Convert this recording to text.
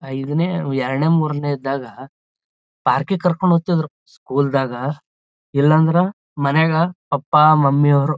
ಐದನೆ ಎರಡನೇ ಮೂರನೇ ಇದ್ದಾಗ ಪಾರ್ಕಿಂಗ್ ಕರ್ಕೊಂಡ್ ಹೋಗ್ತಾ ಇದ್ರೂ ಸ್ಕೂಲ್ದಾಗ ಇಲ್ಲಂದ್ರ ಮನ್ಯಾಗ ಪಪ್ಪಾ ಮಮ್ಮಿ ಅವ್ರು--